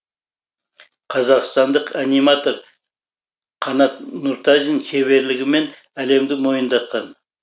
қазақстандық аниматор қанат нұртазин шеберлігімен әлемді мойындатқан